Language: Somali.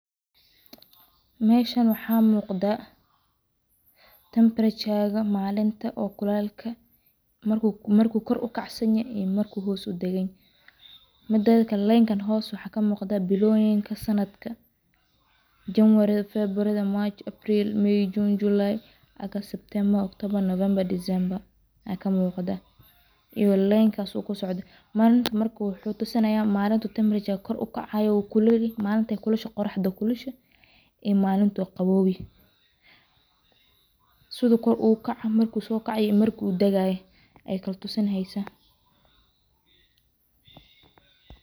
Meeshan waxa muqda tempareture marku hoos udaganyahay iyo marku koor ukcsanyahy hosna waxa kamuqda biloyinka sanadka january, february, march, april, may, june, july, august, september, october december malin wuxu tusinaya malinkey qoroxda kulusha iyo malinku qawoow sidu koor ogusokacayo ayu tusineysa.